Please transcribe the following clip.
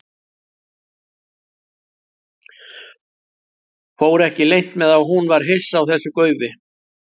Fór ekki leynt með að hún var hissa á þessu gaufi.